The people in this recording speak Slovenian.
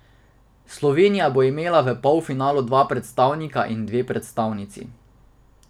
Slovenija bo imela v polfinalu dva predstavnika in dve predstavnici.